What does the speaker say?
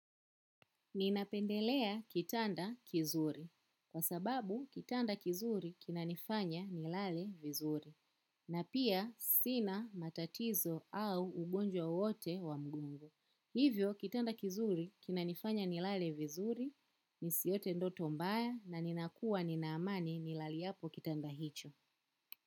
Ninapendelea kitanda kizuri kwa sababu kitanda kizuri kinanifanya nilale vizuri na pia sina matatizo au ugonjwa wowote wa mgongo. Hivyo kitanda kizuri kinanifanya nilale vizuri nisiote ndoto mbaya na ninakua nina amani nilaliapo kitanda hicho.